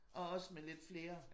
Og også med lidt flere